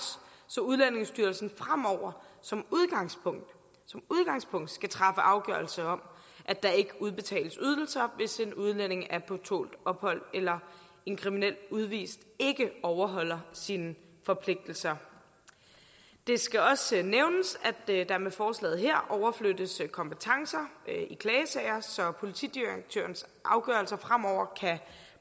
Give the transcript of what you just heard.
så udlændingestyrelsen fremover som udgangspunkt som udgangspunkt skal træffe afgørelse om at der ikke udbetales ydelser hvis en udlænding er på tålt ophold eller en kriminel udvist ikke overholder sine forpligtelser det skal også nævnes at der med forslaget her overflyttes kompetencer i klagesager så politidirektørens afgørelser fremover kan